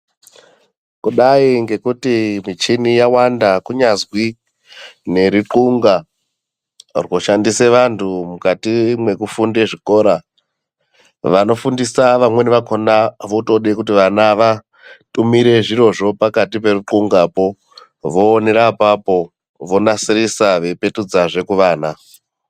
Kudai ngekuti michini yawanda kunyazwi nerixunga rwoshandise vantu mukati mekufunde zvikora, vanofundisa vamweni vakona votode kuti vana vatumire zvirozvo pakati peruxungapo voonera apapo vonasirisa veipetudzazve kuvana.